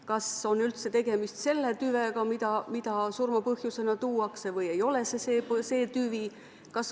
Kas on üldse tegemist selle tüvega, mida surmapõhjusena välja tuuakse, või ei ole see see tüvi?